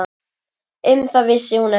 Um það vissi hún ekki.